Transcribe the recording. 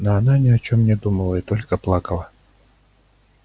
но она ни о чём не думала и только плакала